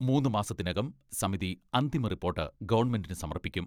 മൂന്നു മാസത്തിനകം സമിതി അന്തിമ റിപ്പോർട്ട് ഗവൺമെന്റിന് സമർപ്പിക്കും.